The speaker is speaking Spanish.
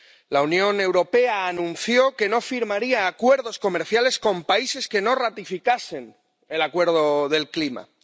La Unión Europea anunció que no firmaría acuerdos comerciales con países que no ratificasen el Acuerdo de París.